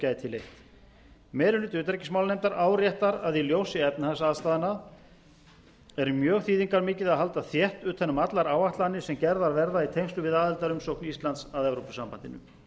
leitt meiri hluti utanríkismálanefndar áréttar að í ljósi efnahagsaðstæðna er mjög þýðingarmikið að halda þétt utan um allar áætlanir sem gerðar verða í tengslum við aðildarumsókn íslands að evrópusambandinu